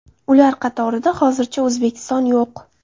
Ular qatorida hozircha O‘zbekiston yo‘q.